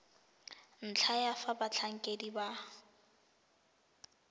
ntlha ya fa batlhankedi ba